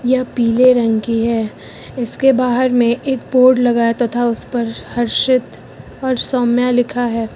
यह पीले रंग की है इसके बाहर में एक बोर्ड लगा तथा उसे पर हर्षित और सौम्या लिखा है।